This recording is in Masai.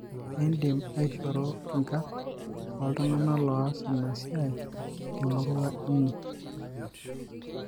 kindim aishoru inkarn oltungana loas ina siai temurua inyi.